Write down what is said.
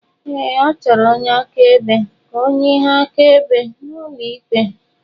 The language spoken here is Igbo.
Ee, achọrọ onye akaebe ka ọ nye ihe akaebe n'ụlọ ikpe.